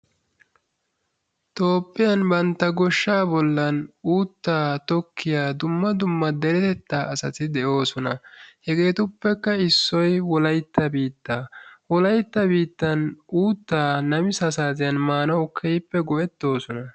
Toophphiyan bantta goshshaa bollan uuttaa tokkiya dumma dumma. deretettaa asayi de"oosona. Hegeetuppekka issoyi wolaytta biitta wolaytta biittan uuttayi namisaa saatiyan maanauw keehippe go"ettoosona.